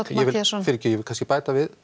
ég vil bæta við